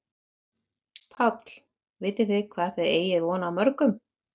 Páll: Vitið þið hvað þið eigið von á mörgum?